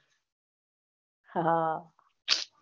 હાહ